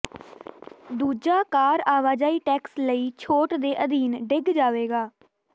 ਦੂਜਾ ਕਾਰ ਆਵਾਜਾਈ ਟੈਕਸ ਲਈ ਛੋਟ ਦੇ ਅਧੀਨ ਡਿੱਗ ਜਾਵੇਗਾ